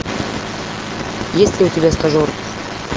есть ли у тебя стажер